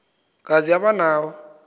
kazi aba nawo